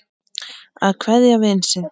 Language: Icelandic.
Að kveðja sinn vin